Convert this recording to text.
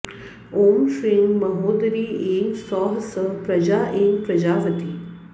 ॐ श्रीं महोदरी ऐं सौः सः प्रजा ऐं प्रजावती